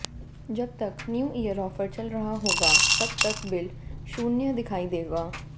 जब तक new year offer चल रहा होगा तब तक बिल शून्य दिखाई देगा